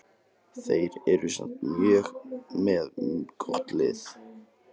Þeir eru samt með gott lið.